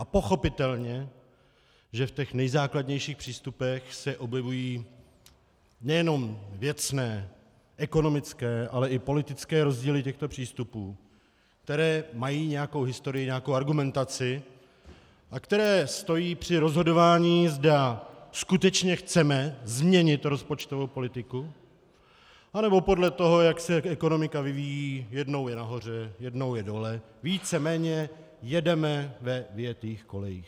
A pochopitelně že v těch nejzákladnějších přístupech se objevují nejenom věcné, ekonomické, ale i politické rozdíly těchto přístupů, které mají nějakou historii, nějakou argumentaci a které stojí při rozhodování, zda skutečně chceme změnit rozpočtovou politiku, anebo podle toho, jak se ekonomika vyvíjí, jednou je nahoře, jednou je dole, víceméně jedeme ve vyjetých kolejích.